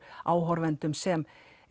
áhorfendum sem